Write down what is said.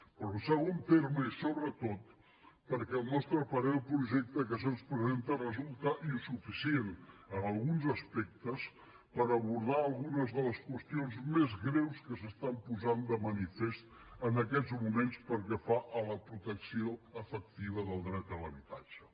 però en segon terme i sobretot perquè al nostre parer el projecte que se’ns presenta resulta insuficient en alguns aspectes per abordar algunes de les qüestions més greus que s’estan posant de manifest en aquests moments pel que fa a la protecció efectiva del dret a l’habitatge